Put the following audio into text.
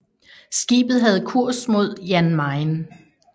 Skibet havde kurs mod Jan Mayen